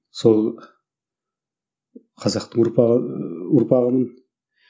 сол қазақтың ұрпағы ұрпағымын